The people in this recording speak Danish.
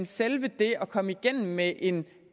selve det at komme igennem med en